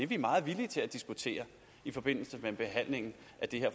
vi meget villige til at diskutere i forbindelse med behandlingen af det her